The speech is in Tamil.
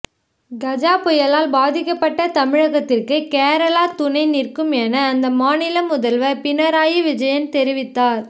கஜா புயலால் பாதிக்கப்பட்ட தமிழகத்திற்கு கேரளா துணை நிற்கும் என அந்த மாநில முதல்வர் பினராயி விஜயன் தெ